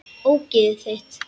Ógeðið þitt!